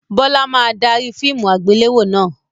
Bọlá máa dárí fíìmù àgbéléwò náà